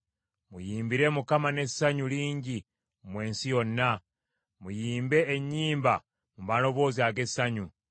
Muyimbire Mukama n’essanyu lingi mwe ensi yonna; muyimbe ennyimba mu maloboozi ag’essanyu.